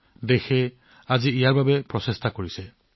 আজি দেশখনে এইসমূহৰ বাবে প্ৰচেষ্টা চলাই আছে